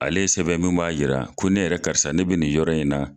Ale ye sɛbɛn min b'a yira ko ne yɛrɛ karisa ne bɛ nin yɔrɔ in na.